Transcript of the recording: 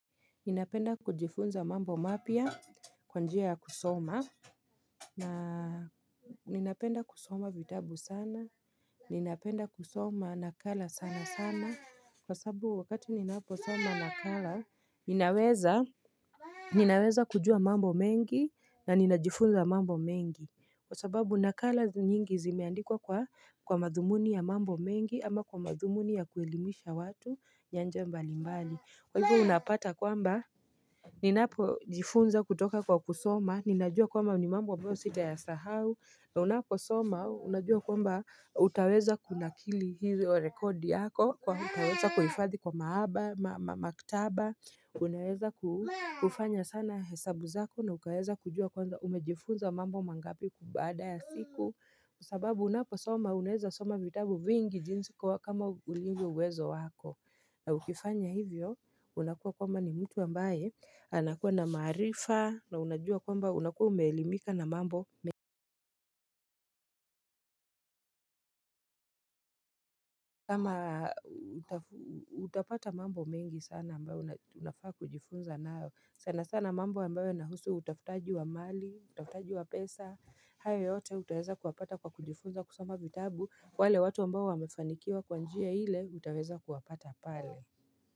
Ninapenda kujifunza mambo mapia kwanjia ya kusoma na Ninapenda kusoma vitabu sana Ninapenda kusoma nakala sana sana Kwa sababu wakati ninaposoma nakala ninaweza Ninaweza kujua mambo mengi na ninajifunza mambo mengi Kwa sababu nakala nyingi zimeandikwa kwa madhumuni ya mambo mengi ama kwa madhumuni ya kuelimisha watu nyanja mbali mbali Kwa hivo unapata kwamba Ninapo jifunza kutoka kwa kusoma, ninajua kwamba ni mambo ambayo sita ya sahau, na unapo soma, unajua kwamba utaweza kuna kili hio rekodi yako, kwani utaweza kuhifadhi kwa maaba, maktaba Unaweza kufanya sana hesabu zako na ukaeza kujua kwamba umejifunza mambo mangapi kubaada ya siku Kwa sababu unapo soma, unaweza soma vitabu vingi jinsi kwa kama ulivyo uwezo wako na ukifanya hivyo unakuwa kwamba ni mtu ambaye anakuwa na maarifa na unajua kwamba unakuwa umeelimika na mambo mengi kama utapata mambo mengi sana ambayo unafaa kujifunza nayo sana sana mambo ambayo ina husu utafutaji wa mali utafutaji wa pesa hayo yote utaeza kuwapata kwa kujifunza kusoma vitabu wale watu ambayo wamefanikiwa kwanjia hile utaeza kuwapata pale.